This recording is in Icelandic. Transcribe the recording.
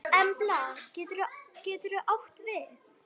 Embla getur átt við